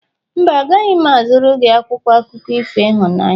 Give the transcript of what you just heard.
Mba, agaghị m azụrụ gị akwụkwọ akụkọ ifo ịhụnanya.